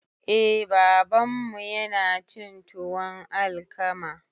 Eh babanmu yanacin tuwon alkama